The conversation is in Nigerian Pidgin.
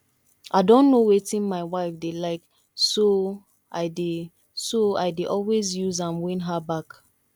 i don know wetin my wife dey like so i dey so i dey always use am win her back